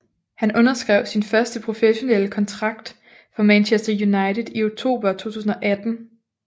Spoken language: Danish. Han underskrev sin første professionelle kontrakt for Manchester United i oktober 2018